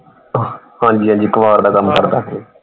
ਹਾਂਜੀ ਹਾਂਜੀ ਕਬਾੜ ਦਾ ਕੰਮ ਕਰਦਾ।